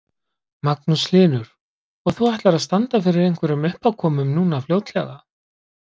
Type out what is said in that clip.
Magnús Hlynur: Og þú ætlar að standa fyrir einhverjum uppákomum núna fljótlega?